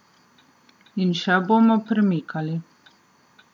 In še bomo premikali.